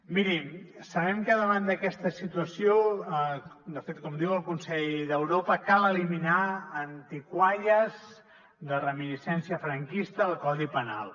mirin sabem que davant d’aquesta situació de fet com diu el consell d’europa cal eliminar antigalles de reminiscència franquista del codi penal